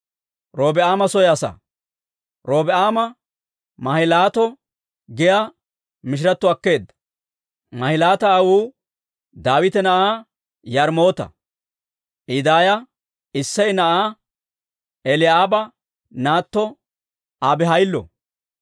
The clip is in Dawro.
Robi'aame Mahilaato giyaa mishiratto akkeedda. Mahilaati aawuu Daawita na'aa Yaarimoota; I daaya Isseya na'aa Eli'aaba naatto Abihayillo.